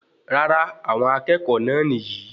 Rárá, àwọn akẹ́kọ̀ọ́ náà nìyí